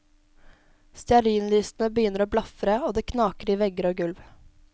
Stearinlysene begynner å blafre og det knaker i vegger og gulv.